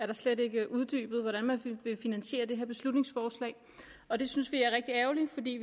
der slet ikke uddybet hvordan man vil finansiere det her beslutningsforslag og det synes vi er rigtig ærgerligt fordi